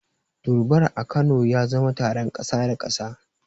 Durbar a Kano ya zama taron kasa da kasa.